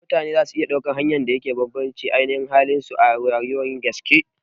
Mutane zasu iya ɗaukan hanyar da yake da bambanci da ainashin halin su a rayuwar gaske